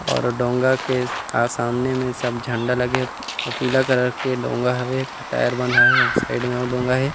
और डोंगा के सामने में सब झंडा लगे हे अउ पिला कलर डोंगा हवे एक ठो टायर बंधा हे साइड में अउ डोंगा हे।